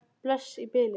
Bless í bili.